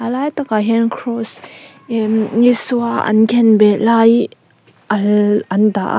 a lai takah hian kraws emm Isua an khenbeh lai all an dah a.